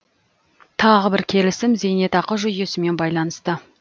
тағы бір келісім зейнетақы жүйесімен байланысты